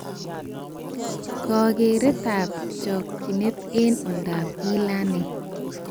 Kakeretab chochinet eng oldoab E-learning